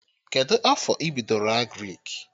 Kedụ afọ ị bidoro Agrịk?